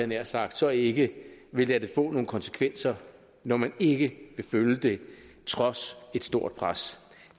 nær sagt så ikke vil lade det få nogle konsekvenser når man ikke vil følge det trods et stort pres